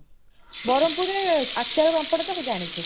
ବରହମପୁରରେ ଆଚାର ପାମ୍ପଡ଼ ତ ତୁ ଜାଣିଥିବୁ